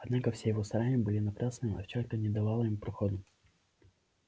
однако все его старания были напрасны овчарка не давала ему проходу